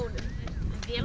ég